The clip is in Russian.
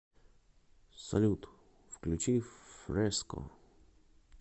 салют включи фреско